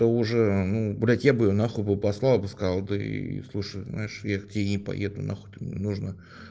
уже ну блядь я бы на хуй послала бы сказал ты слушай знаешь я к тебе не поеду на хуй ты мне нужна